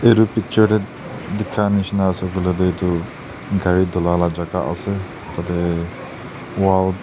etu picture teh dukan nisna ase koile tu etu gari dhula lah jaga ase tah teh Wall--